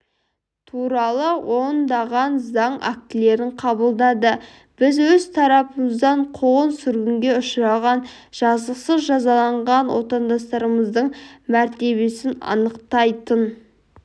туралы ондаған заң актілерін қабылдады біз өз тарапымыздан қуғын-сүргінге ұшырап жазықсыз жазаланған отандастарымыздың мәртебесін анықтайтын